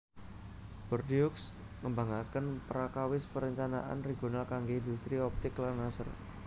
Bordeaux ngembangaken prakawis parencanaan regional kanggé indhustri optik lan laser